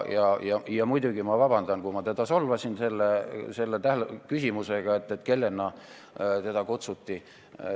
Ma muidugi palun vabandust, kui ma teda solvasin küsimusega, kellena ta siia kutsuti.